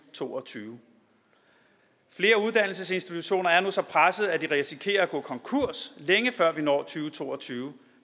to og tyve flere uddannelsesinstitutioner er nu så pressede at de risikerer at gå konkurs længe før vi når til to og tyve